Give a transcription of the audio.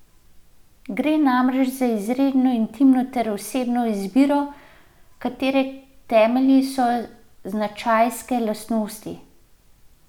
Gre namreč za izjemno intimno ter osebno izbiro, katere temelji so značajske lastnosti.